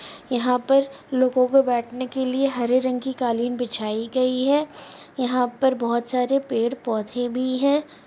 यहाँ पर लोगों के बेठने के लिए हरे रंग की कालीन बिछाई गई है यहाँ पर बहोत सारे पेड़ पौधे भी हैं।